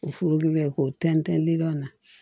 O furu kɛ k'o tɛntɛn liman na